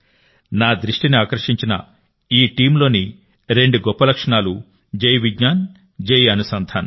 నా దృష్టిని ఆకర్షించిన ఈ టీమ్లోని రెండు గొప్ప లక్షణాలు జై విజ్ఞాన్ జై అనుసంధాన్